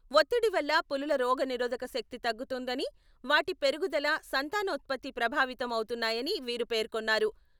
ఒత్తిడి వల్ల పులుల రోగనిరోధక శక్తి తగ్గుతుందని, వాటి పెరుగుదల, సంతానోత్పత్తి ప్రభావితం అవుతున్నాయని వీరు పేర్కొన్నారు.